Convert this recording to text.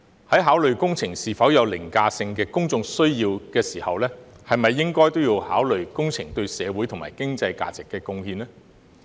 在考慮工程是否有凌駕性的公眾需要時，是否也應考慮工程對社會及經濟價值的貢獻呢？